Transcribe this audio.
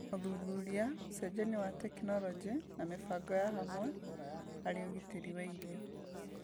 ũthuthuria, ũcenjania wa tekinoronjĩ, na mĩbango ya hamwe harĩ ũgitĩri wa irio